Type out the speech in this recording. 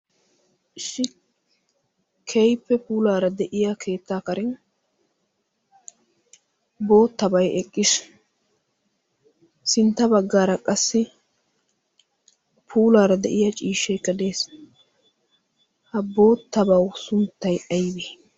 ishi kehipe puulaara de'iya keettaa karen boottabai eqqiish sintta baggaara qassi puulaara de'iya ciishshee kadees ha boottabau sunttay aybe?